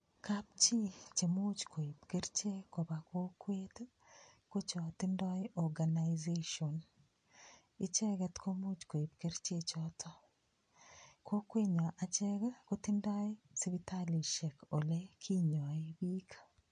Kapchi chemuuch koip kerichek koba kokwet ko chotindoi organization icheget komuuch koip kerichechoto kokwenyo achek kotindoi sipitalishek ole kinyoe biik